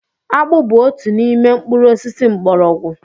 Akpu bu otu n'ime mkpuru osisi mgbọrọgwụ